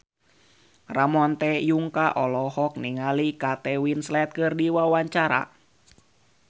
Ramon T. Yungka olohok ningali Kate Winslet keur diwawancara